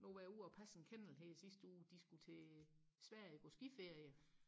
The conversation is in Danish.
nu var jeg ude og passe en kennel her i sidste uge de skulle til Sverige på skiferie